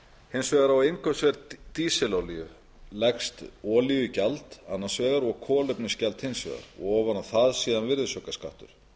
hins vegar á innkaupsverð dísilolíu leggst olíugjald annars vegar og kolefnisgjald hins vegar og ofan á það síðan virðisaukaskattur